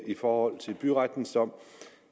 i forhold til byrettens dom